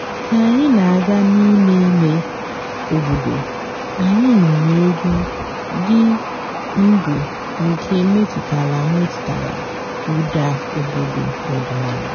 kà ànyị́ nà-àgá n'íìmé ímé òbòdo ànyị́ nụ́rụ́ ègwú dị́ ǹdụ́ nkè mètụ́tàlà mètụ́tàlà ụ́dà òbòdo ọ̀dị́náàlà.